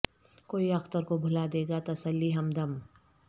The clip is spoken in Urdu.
کوئی اختر کو بھلا دے گا تسلی ہم دم